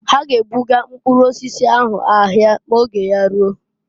Ha g'ebuga mpkụrụ osisi ahụ ahịa ma oge ya ruo.